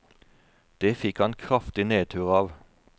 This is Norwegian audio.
Det fikk han kraftig nedtur av.